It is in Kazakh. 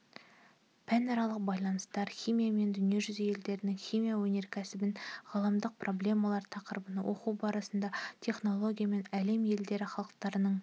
пәнаралық байланыстар химиямен дүниежүзі елдерінің химия өнеркәсібін ғаламдық проблемалар тақырыбын оқу барысында технологиямен әлем елдері халықтарының